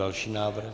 Další návrh.